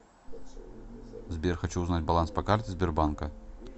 сбер хочу узнать баланс по карте сбербанка